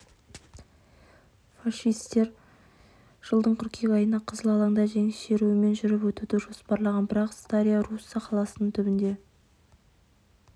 фашистер жылдың қыркүйек айында қызыл алаңда жеңіс шеруімен жүріп өтуді жоспарлаған бірақ старая русса қаласының түбінде